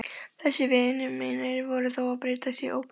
Þessir vinir mínir voru þó að breytast í ógnun.